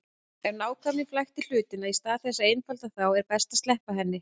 Ef nákvæmnin flækir hlutina í stað þess að einfalda þá er best að sleppa henni.